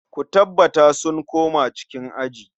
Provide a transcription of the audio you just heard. Ku tabbata sun koma cikin aji.